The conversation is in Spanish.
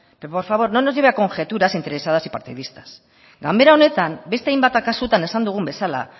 pero por favor no nos lleve a conjeturas interesadas y partidistas ganbara honetan beste hainbat kasutan esan dugun bezala